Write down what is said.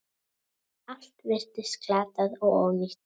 Allt virtist glatað og ónýtt.